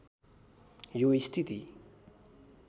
यो स्थिति